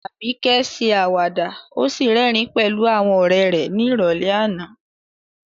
Abike ṣe àwàdà ó sì rẹ́rìn-ín pẹ̀lú àwọn ọ̀rẹ́ rẹ̀ ní ìrọ̀lẹ́ àná.